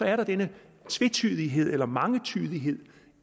er denne tvetydighed eller mangetydighed